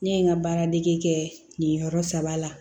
Ne ye n ka baaradege kɛ nin yɔrɔ saba la